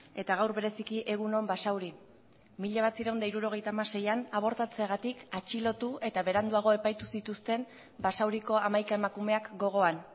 eta gaur bereziki egun on basauri mila bederatziehun eta hirurogeita hamaseian abortatzeagatik atxilotu eta beranduago epaitu zituzten basauriko hamaika emakumeak gogoan